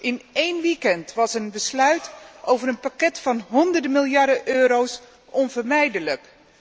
In één weekend was een besluit over een pakket van honderden miljarden euro onvermijdelijk.